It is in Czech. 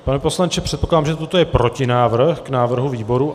Pane poslanče, předpokládám, že toto je protinávrh k návrhu výboru.